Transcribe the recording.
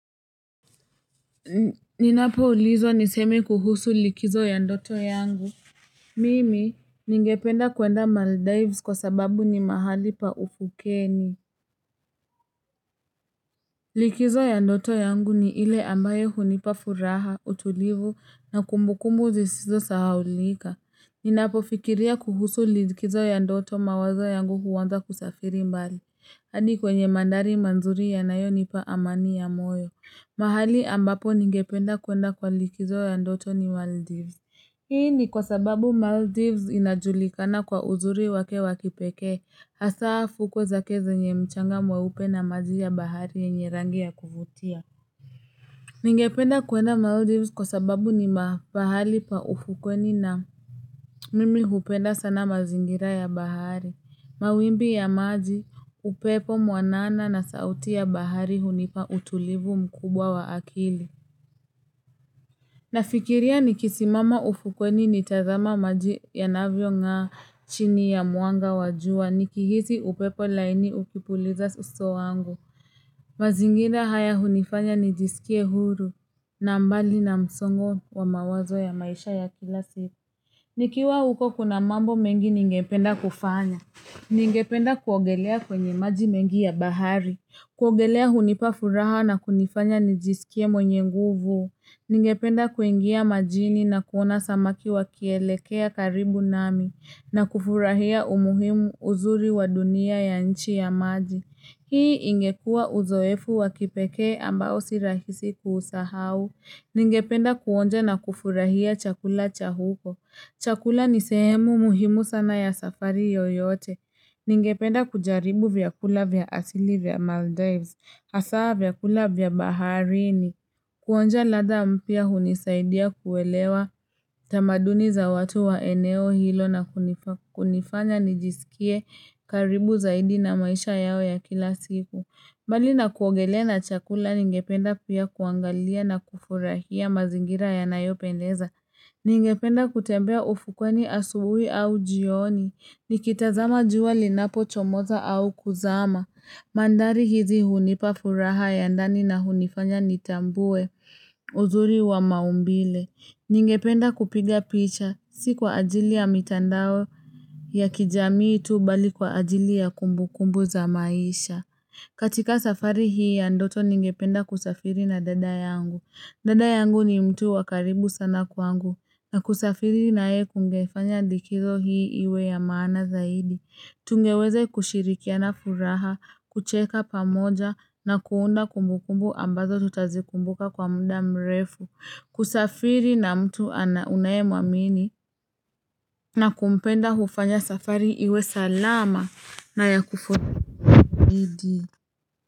Ninapoulizwa niseme kuhusu likizo ya ndoto yangu Mimi ningependa kwenda maldives kwa sababu ni mahali pa uvukeni Likizo ya ndoto yangu ni ile ambayo hunipa furaha utulivu na kumbukumbu sisizo sahaulika Ninapofikiria kuhusu likizo ya ndoto mawazo yangu huanza kusafiri mbali hadi kwenye mandhari mazuri yanayonipa amani ya moyo mahali ambapo ningependa kwenda kwa likizo ya ndoto ni Maldives Hii ni kwa sababu Maldives inajulikana kwa uzuri wake wa kipekee Hasaa fukwe zake zenye mchanga mweupe na maji ya bahari yenye rangi ya kuvutia Ningependa kwenda Maldives kwa sababu ni mahali pa ufukweni na Mimi hupenda sana mazingira ya bahari Mawimbi ya maji upepo mwanana na sauti ya bahari hunipa utulivu mkubwa wa akili Nafikiria nikisimama ufukweni nitazame maji yanavyo ng'aa chini ya mwanga wa jua nikihisi upepo laini ukipuliza uso wangu. Mazingira haya hunifanya nijisikie huru na mbali na msongo wa mawazo ya maisha ya kila siku Nikiwa huko kuna mambo mengi ningependa kufanya. Ningependa kuogelea kwenye maji mengi ya bahari. Kuogelea hunipa furaha na kunifanya nijisikie mwenye nguvu. Ningependa kuingia majini na kuona samaki wakielekea karibu nami na kufurahia umuhimu uzuri wa dunia ya nchi ya maji. Hii ingekua uzoefu wa kipekee ambao si rahisi kuusahau. Ningependa kuonja na kufurahia chakula cha huko. Chakula ni sehemu muhimu sana ya safari yoyote. Ningependa kujaribu vyakula vya asili vya Maldives. Hasaa vyakula vya baharini kuonja ladha mpya hunisaidia kuelewa tamaduni za watu wa eneo hilo na kunifanya nijisikie karibu zaidi na maisha yao ya kila siku. Mbali na kuogelea na chakula ningependa pia kuangalia na kufurahia mazingira yanayopendeza. Ningependa kutembea ufukweni asubuhi au jioni. Nikitazama jua linapochomoza au kuzama. Mandhari hizi hunipa furaha ya ndani na hunifanya nitambue uzuri wa maumbile Ningependa kupiga picha si kwa ajili ya mitandao ya kijamii tu bali kwa ajili ya kumbukumbu za maisha katika safari hii ya ndoto ningependa kusafiri na dada yangu dada yangu ni mtu wa karibu sana kwangu na kusafiri naye kungefanya likizo hii iwe ya maana zaidi Tungeweze kushirikiana furaha, kucheka pamoja na kuunda kumbukumbu ambazo tutazikumbuka kwa muda mrefu, kusafiri na mtu unayemwamini na kumpenda hufanya safari iwe salama na ya kufaiidi.